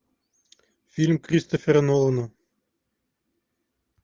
фильм кристофера нолана